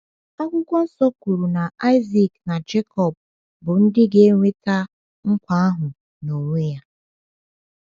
Akwụkwọ Nsọ kwuru na Isaac na Jekọb bụ ndị ga-enweta nkwa ahụ n’onwe ya.